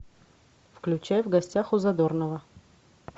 включай в гостях у задорнова